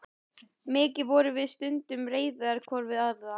Mikið vorum við stundum reiðar hvor við aðra.